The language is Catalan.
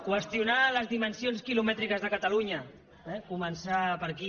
qüestionar les dimensions quilomètriques de catalunya eh començar per aquí